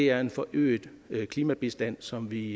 er en forøget klimabistand som vi